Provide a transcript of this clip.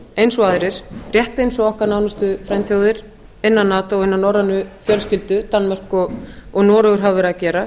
eins og aðrir rétt og okkar nánustu frændþjóðir innan nato hinar norrænu fjölskyldur danmörk og noregur hafa verið að gera